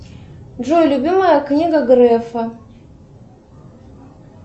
джой любимая книга грефа